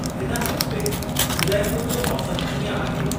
हिन हफ़्ते उदयपुर जो मौसमु कीअं आहे?